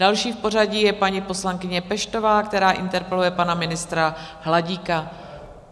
Další v pořadí je paní poslankyně Peštová, která interpeluje pana ministra Hladíka.